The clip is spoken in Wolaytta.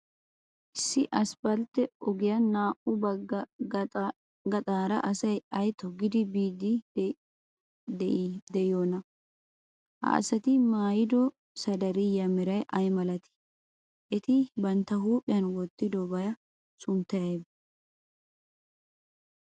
Issi asppaltte ogiyan naa''u bagga gaxaara asay ay toggidi biiddi de'iyoonaa? Ha asati maayido sadariyiyaa meray ay malatii? Eti bantta huuphiyan wottidobaa sunttay aybee?